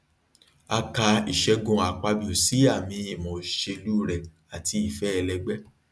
a ka ìṣẹgun akpabio sí àmì ìmọ ìṣèlú rẹ àti ìfẹ ẹlẹgbẹ